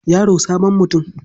Yaro sabon mutum.